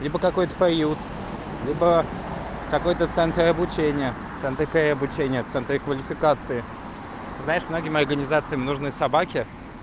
либо какой-то поют либо какой-то центр обучение там такой обучение центре квалификации знаешь многим организациям нужны собаки